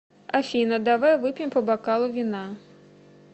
афина давай выпьем по бокалу вина